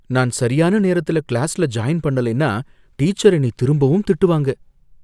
நான் சரியான நேரத்துல கிளாஸ்ல ஜாயின் பண்ணலைன்னா, டீச்சர் என்னை திரும்பவும் திட்டுவாங்க.